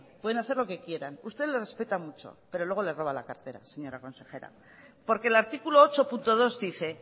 pueden hacer lo que quieran usted los respeta mucho pero luego les roba la cartera señora consejera porque el artículo ocho punto dos dice